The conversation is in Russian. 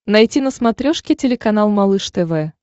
найти на смотрешке телеканал малыш тв